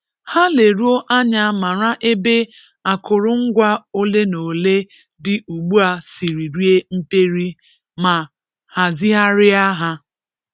Ha leruo anya mara ebe akụrụngwa olenaole dị ugbu a siri rie mperi ma hazigharịa ha.